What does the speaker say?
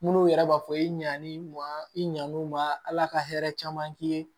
Munnu yɛrɛ b'a fɔ i ɲan'i ma i ɲan'u ma ala ka hɛrɛ caman k'i ye